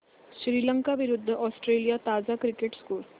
श्रीलंका विरूद्ध ऑस्ट्रेलिया ताजा cricket score